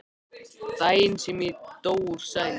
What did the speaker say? Daginn sem ég dó úr sælu.